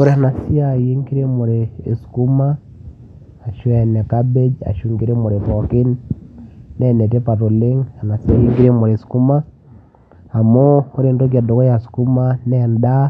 ore ena siai enkiremore ekuma ashu ene cabbage ashu enkiremore pookin naa enetipat oleng ena siai enkiremore eskuma amu ore entoki edukuya skuma naa endaa